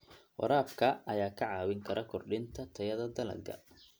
Waraabka ayaa kaa caawin kara kordhinta tayada dalagga.